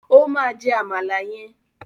O máa jẹ àmàlà yẹn.